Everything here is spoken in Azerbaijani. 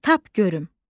Tap görüm.